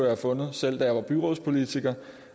have fundet selv da jeg var byrådspolitiker